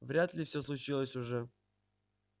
вряд ли все случилось уже